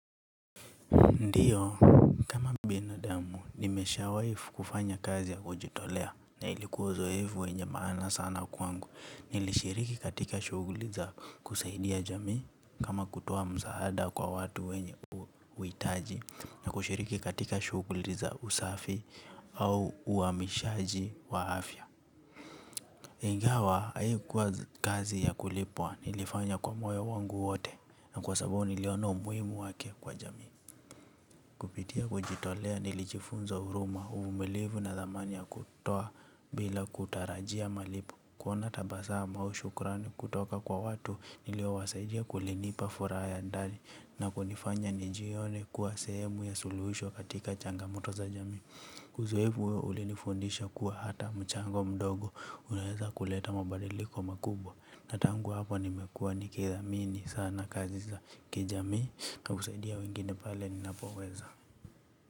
Ndiyo, kama binadamu, nimeshawai kufanya kazi ya kujitolea na ilikuwa uzoefu wenye maana sana kwangu. Nilishiriki katika shughuli za kusaidia jamii kama kutoa msaada kwa watu wenye uhitaji na kushiriki katika shughuli za usafi au uamishaji wa afya. Ingawa, haikuwa kazi ya kulipwa, nilifanya kwa moyo wangu wote na kwa sababu niliona umuhimu wake kwa jamii. Kupitia kujitolea nilijifunza huruma uvumilivu na thamani ya kutoa bila kutarajia malipo, kuona tabasamu au shukrani kutoka kwa watu niliowasaidia kulinipa furaha ya ndani na kunifanya nijione kuwa sehemu ya suluhisho katika changamoto za jamii uzoefu huo ulinifundisha kuwa hata mchango mdogo unaweza kuleta mabadiliko makubwa. Na tangu hapo nimekuwa nikithamini sana kazi za kijami na kusaidia wengine pale ninapoweza.